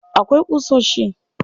Akwai ƙusoshi. There are nails.